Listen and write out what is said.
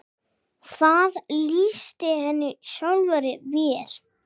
Það lýsti henni sjálfri vel.